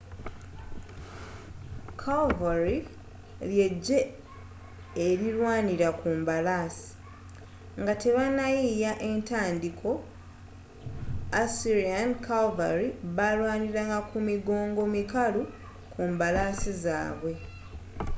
calvary ly'eggye erirwanira ku mbalaasi nga tebannayiiya etandiiko assyrian calvary balwaniranga ku migongo mikalu ku mbalaasi zaabwe